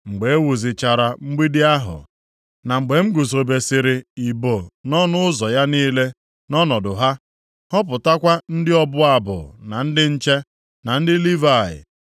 Mgbe e wuzichara mgbidi ahụ, na mgbe m guzobesịrị ibo nʼọnụ ụzọ ya niile nʼọnọdụ ha, họpụtakwa ndị ọbụ abụ na ndị nche, na ndị Livayị.